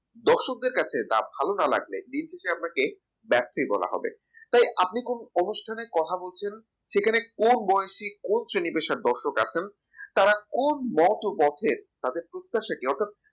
দর্শকদের কাছে তা ভালো না লাগলে দিনের শেষে আপনাকে ব্যর্থই বলা হবে তাই আপনি কোন অনুষ্ঠানে কথা বলছেন সেখানে কোন বয়সে? কোন celebration দর্শক আছেন তারা কোন মতপথের তাদের প্রত্যাশা কি অর্থাৎ